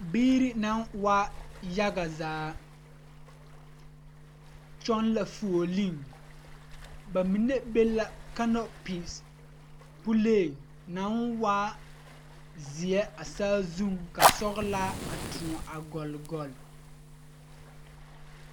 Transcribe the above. Biiri naŋ waa yaɡa zaa kyɔɡe la fuoleŋ ba mine be la kanopis puleŋ naŋ waa zeɛ a saazuŋ ka sɔɡelaa a tõɔ a ɡɔle.